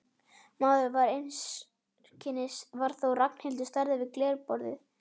Maðurinn varð einskis var þó að Ragnhildur stæði við glerborðið.